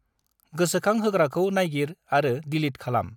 गोसोखांहोग्राखौ नायगिर आरो दिलिट खालाम।